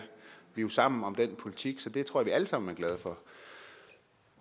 vi er jo sammen om den politik så det tror jeg vi alle sammen er glade for